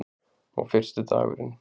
Og fyrsti dagurinn.